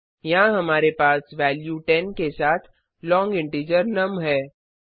यहाँ हमारे पास वेल्यू 10 के साथ लोंग इंटीजर नुम है